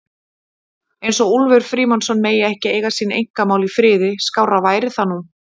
eins og Úlfur Frímannsson megi ekki eiga sín einkamál í friði, skárra væri það nú!